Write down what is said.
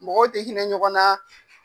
Mɔgɔw bɛ hinɛ ɲɔgɔn na.